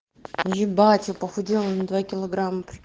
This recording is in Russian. ебать я похудела на два килограмма